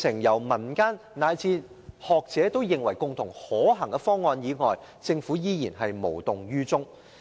在民間及學者提出可行的方案後，政府依然無動於衷。